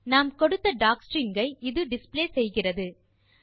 நாம் கொடுத்த டாக்ஸ்ட்ரிங் ஐ இது டிஸ்ப்ளே செய்கிறது